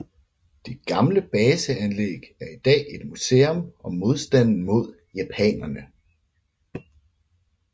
Det gamle baseanlæg er i dag et museum om modstanden mod japanerne